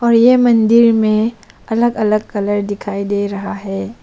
और ये मंदिर में अलग अलग कलर दिखाई दे रहा है।